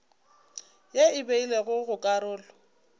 ye e beilwego go karolo